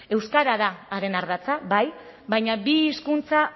euskara da haren ardatza bai baina bi hizkuntza